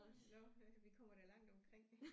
Nåh ja vi kommer da langt omkring